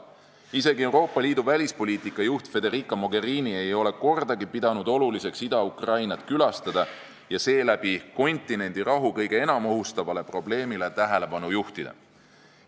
Isegi Euroopa Liidu välispoliitika juht Federica Mogherini ei ole kordagi pidanud vajalikuks Ida-Ukrainat külastada ja seeläbi maailmajao rahu kõige enam ohustavale probleemile tähelepanu juhtida.